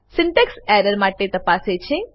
syntax error માટે તપાસે છે